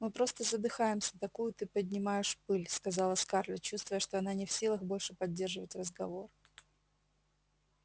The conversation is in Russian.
мы просто задыхаемся такую ты поднимаешь пыль сказала скарлетт чувствуя что она не в силах больше поддерживать разговор